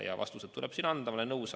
Ja vastused tuleb siin anda, ma olen nõus.